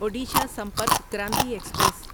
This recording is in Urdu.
اوڈیشا سمپرک کرانتی ایکسپریس